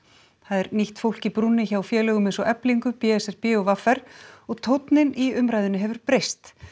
það er nýtt fólk í brúnni hjá félögum eins og Eflingu b s r b og v r og tónninn í umræðunni hefur breyst